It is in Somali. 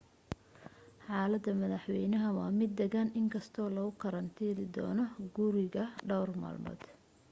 xaalada madaxeynaha waa mid dagan in kasto lagu karantilidoono guriga dhowr malmood